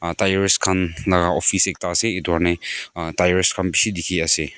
tyre khan laga office akada asa etu karna tyres khan beshi dekhi asa.